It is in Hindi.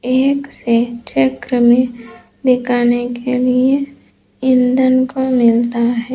एक से चक्र में दिखाने के लिए इंधन को मिलता है।